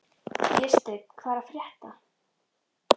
Vésteinn, hvað er að frétta?